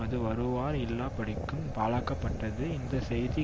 அதில் வருவார் இல்லாதபடிக்கும் பாழாக்கப்பட்டது இந்த செய்தி